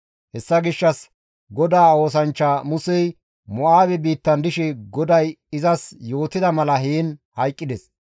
Hessa gishshas GODAA oosanchcha Musey Mo7aabe biittan dishe GODAY izas yootida mala heen hayqqides.